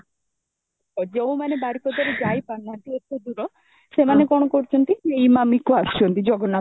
ଯୋଉ ମାନେ ବାରିପଦା ରେ ଯାଇ ପାରୁନାହାନ୍ତି ଏତେ ଦୂର ସେମାନେ କଣ କରୁଛନ୍ତି, ଇମାମି କୁ ଆସୁଛନ୍ତି ଜଗନ୍ନାଥ